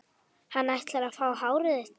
Hann ætlar að fá hárið þitt.